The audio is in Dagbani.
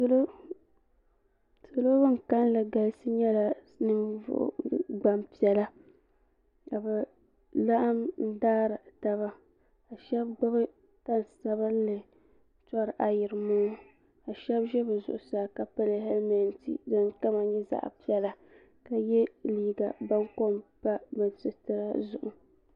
salo bin kanli galisi nyɛla Gbanpiɛla ka bi laɣam n daari taba ka shab gbubi tani sabinli tori ayirimo ŋɔ ka shab ʒi bi zuɣusaa ka pili hɛlmɛnt din kama nyɛ zaɣ piɛla ka yɛ liiga baŋkom pa bi sitira zuɣu